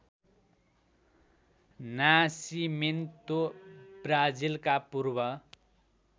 Nascimento ब्राजिलका पूर्व